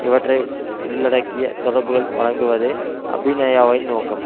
இவற்றை உள்ளடக்கிய தொடர்புகளை வழங்குவதே அபிநயாவின் நோக்கம்